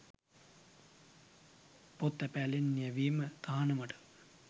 පොත් තැපෑලෙන් යැවීම තහනමට